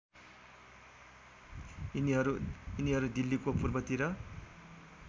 यिनीहरू दिल्लीको पूर्वतिर